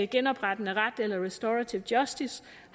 genoprettende ret eller restorative justice